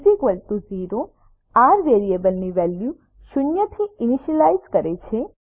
r0 R વેરિયેબલની value શૂન્યથી initialize કરે છે